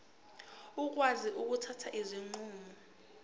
bakwazi ukuthatha izinqumo